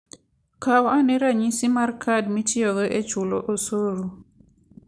Kaw ane ranyisi mar kad mitiyogo e chulo osuru.